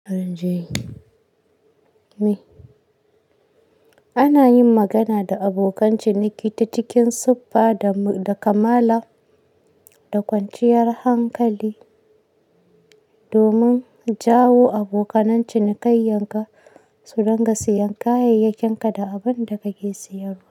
Ana yin magana da abokan ciniki ta cikin siffa da, da kamala, da kwanciyar hankali domin jawo abokanan cinikayyar ka su ringa sayan kayayyakin ka da abinda kake sayarwa.